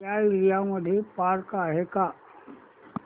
या एरिया मध्ये पार्क आहे का